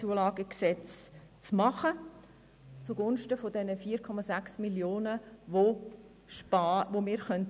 Dies ist auch zugunsten dieser 4,6 Mio. Franken, welche so eingespart werden können.